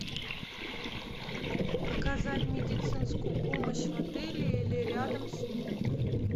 оказать медицинскую помощь в отеле или рядом с ним